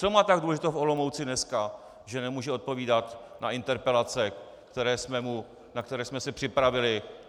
Co má tak důležitého v Olomouci dneska, že nemůže odpovídat na interpelace, na které jsme se připravili?